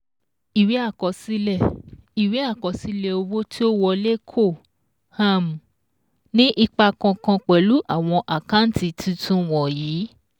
Ìwé àkọsílẹ̀ Ìwé àkọsílẹ̀ owó tí ó wọlé kò um ní ipa kànkan pẹ̀lú àwon àkántì tuntun wọ̀nyìí